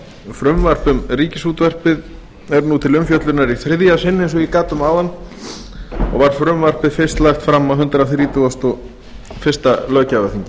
frumvarp um ríkisútvarpið er nú til umfjöllunar í þriðja sinn eins og ég gat um áðan og var frumvarpið fyrst lagt fram á hundrað þrítugasta og fyrsta löggjafarþingi